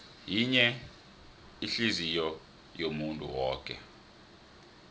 yinye ihliziyou yomuntu woke